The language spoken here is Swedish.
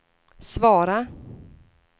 svara